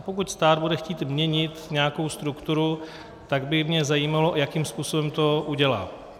A pokud stát bude chtít měnit nějakou strukturu, tak by mě zajímalo, jakým způsobem to udělá.